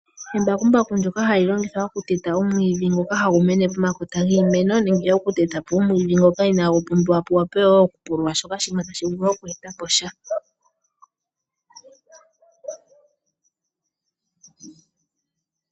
Embakumbaku ndyoka hali longithwa oku teta omwiidhi ngoka hagu mene pomakota giimeno nenge oku teta po omwiidhi ngoka inagu pumbiwa po wo nenge shimwe shoka tashi vuluboku e ta po sha.